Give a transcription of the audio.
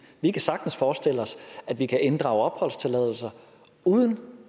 vi kan sagtens forestille os at vi kan inddrage opholdstilladelser uden